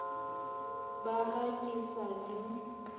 ba ha ke sa le